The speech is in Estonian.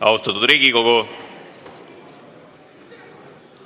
Austatud Riigikogu!